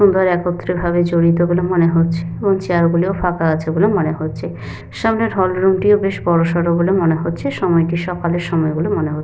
একত্রিত ভাবে জড়িত বলে মনে হচ্ছে এবং চেয়ার গুলিও ফাঁকা আছে বলে মনে হচ্ছে। সামনের হল রুম টিও বেশ বড়ো সড়ো বলে মনে হচ্ছে। সময়টি সকালের সময় বলে মনে হ--